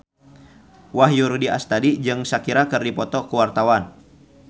Wahyu Rudi Astadi jeung Shakira keur dipoto ku wartawan